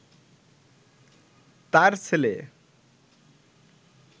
তাঁর ছেলে